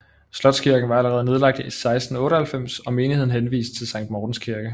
Slotskirken var allerede nedlagt i 1698 og menigheden henvist til Sankt Mortens Kirke